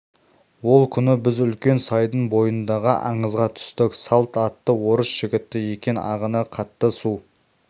ол күні біз үлкен сайдың бойындағы аңызға түстік салт атты орыс жігіті екен ағыны қатты су